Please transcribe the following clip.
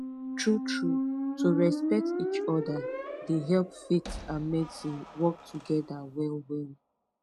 truetrue to respect each other dey help faith and medicine work together well well